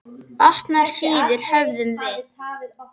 Opnar síður höfum við.